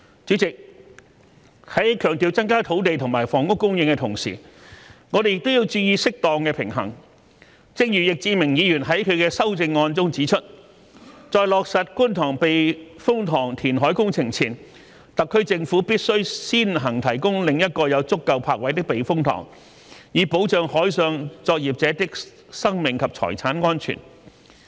主席，在強調增加土地和房屋供應的同時，我們也要注意適當的平衡，正如易志明議員在其修正案中指出："在落實觀塘避風塘填海工程前，特區政府必須先行提供另一個有足夠泊位的避風塘，以保障海上作業者的生命及財產安全"。